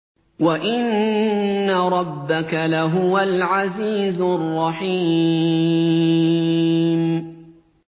وَإِنَّ رَبَّكَ لَهُوَ الْعَزِيزُ الرَّحِيمُ